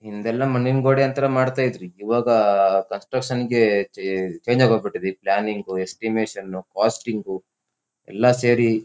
ಹಿಂದೆಲ್ಲ ಮಣ್ಣಿನ ಗೋಡೆ ಅಂತ್ರ ಮಾಡ್ತಾಇದ್ರಿ. ಇವಾಗ ಕಸ್ಟೇಷನ್ ಗೆ ಚೇಂಜ್ ಆಗೋಗ್ ಬಿಟ್ಟಿದೆ ಈ ಪ್ಲಾನ್ನಿಂಗ್ಸ್ ಎಸ್ಟಿಮೇಶನ್ನು ಕಾಸ್ಟಿಂಗು ಎಲ್ಲ ಸೇರಿ--